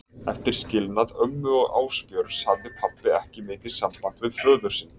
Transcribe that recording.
Eftir skilnað ömmu og Ásbjörns hafði pabbi ekki mikið samband við föður sinn.